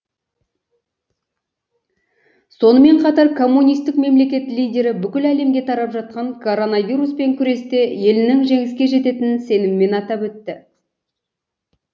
сонымен қатар коммунистік мемлекет лидері бүкіл әлемге тарап жатқан коронавируспен күресте елінің жеңіске жететінін сеніммен атап өтті